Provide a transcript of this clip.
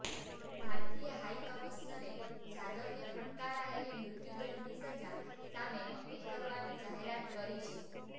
ભારતીય હાઈકમિશનરે જાદવને ફટકારાયેલી મૃત્યુદૃંડની સજા સામે અપીલ કરવાની જાહેરાત કરી છે